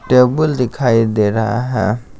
Table दिखाई दे रहा है।